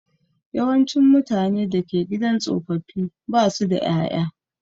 Yawancin mutane da ke gidan tsofaffi ba su da ƴaƴa.